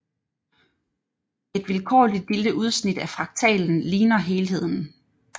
Et vilkårligt lille udsnit af fraktalen ligner helheden